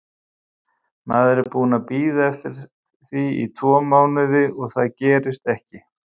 Maður er búinn að bíða eftir því tvo mánuði en það gerist ekki.